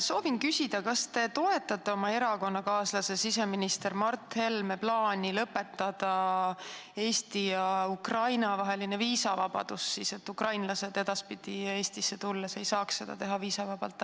Soovin küsida, kas te toetate oma erakonnakaaslase siseminister Mart Helme plaani lõpetada Eesti ja Ukraina vaheline viisavabadus, et ukrainlased edaspidi Eestisse tulles ei saaks seda teha viisavabalt.